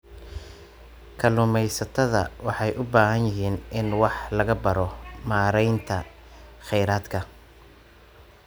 Kalluumeysatada waxay u baahan yihiin in wax laga baro maareynta kheyraadka.